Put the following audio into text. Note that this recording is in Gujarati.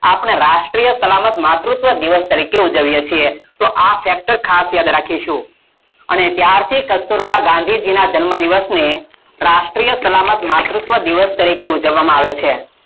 આપણે રાષ્ટિય સલામતી માતુત્વ દિવસ તરીકે ઉજવીયે છીએ, આ સતત ખાસ યાદ રાખીશુ, અને યાદ થી કસ્તુરબા ગાંધીના જન્મ દિવસ ને રાષ્ટિય સલામત માતુત્વ દિવસ તરીકે ઉજવવામાં આવે છે